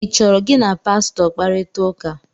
ị chọrọ gị na Pastọ kparịta ụka?